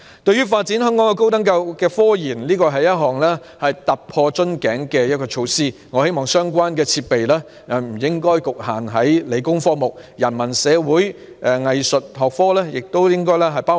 對於香港高等教育的科研發展，這是一項突破瓶頸的措施，我希望相關設備不應局限於理工科目，也應適用於人文、社會及藝術學科。